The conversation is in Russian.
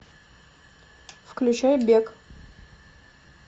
включай бег